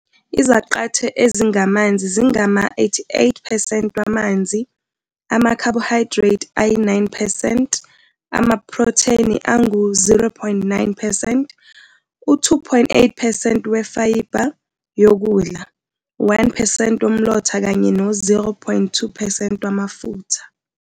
Izaqathe ezingamanzi zingama-88 percent wamanzi, ama-carbohydrate ayi-9 percent, amaprotheni angu-0.9 percent, u-2.8 percent wefayibha yokudla, u-1 percent womlotha kanye no-0.2 percent wamafutha.